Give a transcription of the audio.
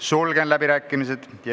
Sulgen läbirääkimised.